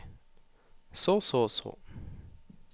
så så så